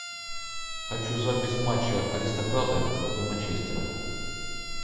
хочу запись матча аристократы против манчестера